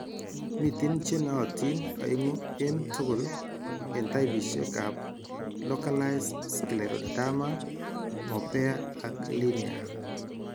Miten chenoiyotin oeng'u eng' tugul eng' taipisiek ab localized sscleroderma :morphea ak linear